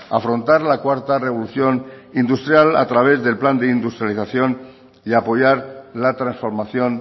afrontar la cuarta revolución industrial a través del plan de industrialización y apoyar la transformación